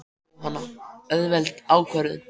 Jóhanna: Auðveld ákvörðun?